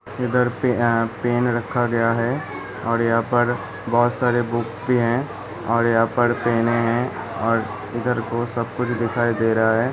इधर पे आ पेन रखा गया है और यहां पर बहुत सारे बुक भी हैं और यहाँ पर पेनें है और इधर को सब कुछ दिखाई दे रहा है।